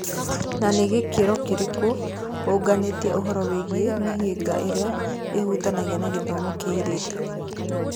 Nĩ na gĩkĩro kĩrĩkũ ũũnganĩtie ũhoro wĩgiĩ mĩhĩnga ĩrĩa ĩhutanĩtie na gĩthomo kĩa airĩtu?